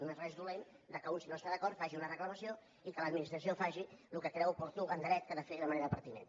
no és res dolent que un si no hi està d’acord faci una reclamació i que l’administració faci el que creu oportú en dret que ha de fer de manera pertinent